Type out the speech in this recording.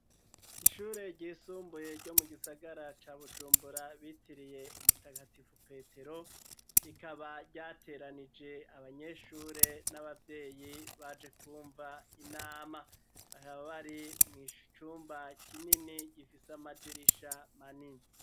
Ishure ryisumbuye ryo mu gisagara ca bujumbura bitiriye umutagatifu petero, rikaba ryateranije abanyeshure n'abavyeyi baje kumva inama, bakaba bari mu cumba kinini gifise amadirisha manini.